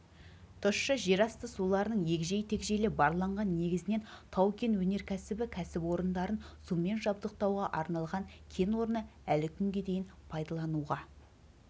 тұщы жерасты суларының егжей-тегжейлі барланған негізінен тау-кен өнеркәсібі кәсіпорындарын сумен жабдықтауға арналған кен орны әлі күнге дейін пайдалануға